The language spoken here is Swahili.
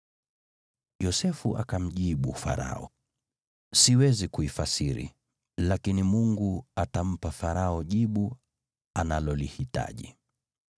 Yosefu akamjibu Farao, “Siwezi kuifasiri, lakini Mungu atampa Farao jibu analolihitaji.”